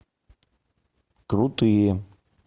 крутые